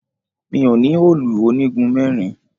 Mi ò ní òòlù onígun mẹ́rin